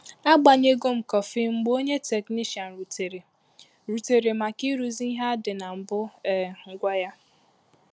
A gbanyego m kọfị mgbe ònye teknishian rutere rutere maka ịrụzi ìhè adị na mbụ um gwa ya